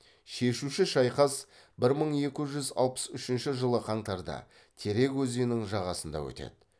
шешуші шайқас бір мың екі жүз алпыс үшінші жылы қаңтарда терек өзенінің жағасында өтеді